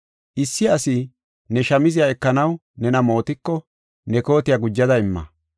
Issi asi ne shamziya ekanaw nena mootiko, ne kootiya gujada imma.